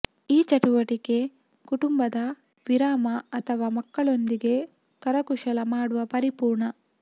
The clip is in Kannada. ಈ ಚಟುವಟಿಕೆ ಕುಟುಂಬದ ವಿರಾಮ ಅಥವಾ ಮಕ್ಕಳೊಂದಿಗೆ ಕರಕುಶಲ ಮಾಡುವ ಪರಿಪೂರ್ಣ